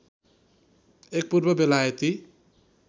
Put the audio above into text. एक पूर्व बेलायती